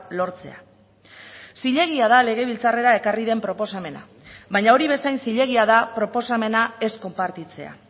lortzea zilegia da legebiltzarrera ekarri den proposamena baina hori bezain zilegia da proposamena ez konpartitzea